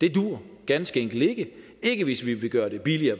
det duer ganske enkelt ikke ikke hvis vi vil gøre det billigere